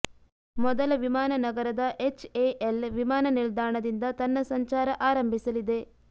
ಮೊದಲ ವಿಮಾನ ನಗರದ ಎಚ್ಎಎಲ್ ವಿಮಾನ ನಿಲ್ದಾಣದಿಂದ ತನ್ನ ಸಂಚಾರ ಆರಂಭಿಸಲಿದೆ